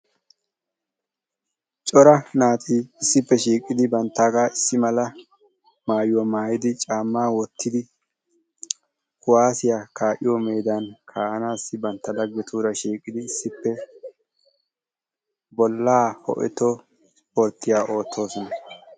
Cora naati issippe shiiqqidi banttaagaa issi mala maayuwaa maayidi caammaa wottidi kuwaasiyaa kaa'iyoo meedan bantta laggetuura giididi issippe bollaa ho"eto isporttiyaa oottoosona.